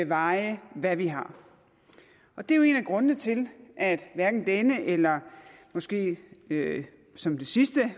veje og hvad vi har og det er jo en af grundene til at hverken denne eller måske som det sidste